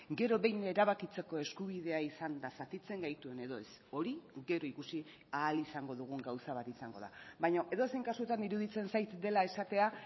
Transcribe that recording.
gero behin erabakitzeko eskubidea izanda zatitzen gaituen edo ez hori gero ikusi ahal izango dugun gauza bat izango da baina edozein kasutan iruditzen zait dela esatea